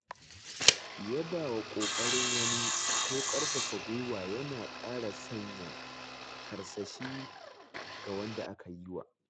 Yabawa ƙoƙarin wani ko ƙarfafa gwuiwa yana ƙara sanya karsashi ga wanda aka yiwa.